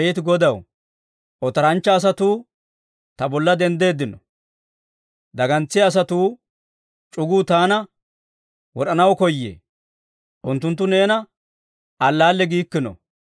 Abeet Godaw, otoranchcha asatuu ta bolla denddeeddino; dagantsiyaa asatuwaa c'uguu taana wod'anaw koyee. Unttunttu neena alaalle giikkino.